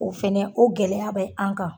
O fɛnɛ o gɛlɛya be an kan.